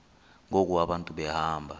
ngoku abantu behamba